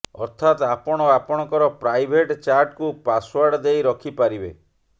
ଅର୍ଥାତ୍ ଆପଣ ଆପଣଙ୍କର ପ୍ରାଇଭେଟ୍ ଚାଟ୍କୁ ପାସ୍ୱାର୍ଡ ଦେଇ ରଖି ପାରିବେ